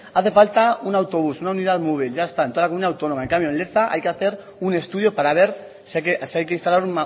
hace falta un autobús una unidad móvil ya está en toda la comunidad autónoma en cambio en leza hay que hacer un estudio para ver si hay que instalar